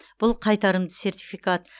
бұл қайтарымды сертификат